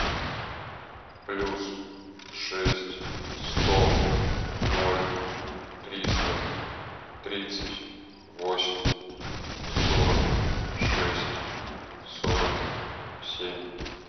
плюс шесть сто ноль триста тридцать восемь сорок шесть сорок семь